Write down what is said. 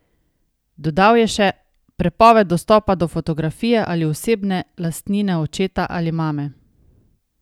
Dodal je še: "Prepoved dostopa do fotografije ali osebne lastnine očeta ali mame.